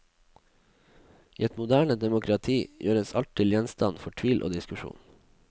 I et moderne demokrati gjøres alt til gjenstand for tvil og diskusjon.